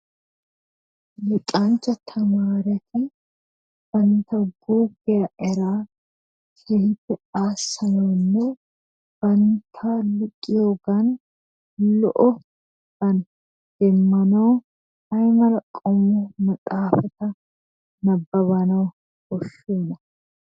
Luxanchcha tamaareti bantta guuggiya eraa keehippe aassanawunne bantta luxiyogan lo'obaa demmanawu ay mala qommo maxaafata nabbabanawu koshshiyonaa?